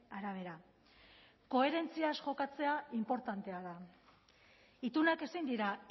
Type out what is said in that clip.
arabera koherentziaz jokatzea inportantea da itunak ezin dira